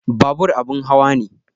Babur abin hawa ne